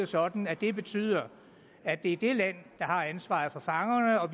sådan at det betyder at det er det land der har ansvaret for fangerne og